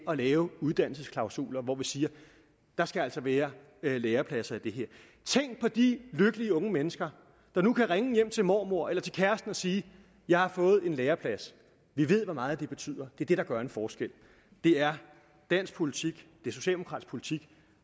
at lave uddannelsesklausuler hvor vi siger der skal altså være lærepladser i det her tænk på de lykkelige unge mennesker der nu kan ringe hjem til mormor eller til kæresten og sige jeg har fået en læreplads vi ved hvor meget det betyder det er det der gør en forskel det er dansk politik det er socialdemokratisk politik